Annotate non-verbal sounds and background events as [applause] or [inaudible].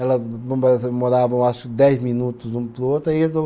Ela [unintelligible] morava, eu acho, dez minutos um para o outro. Aí [unintelligible]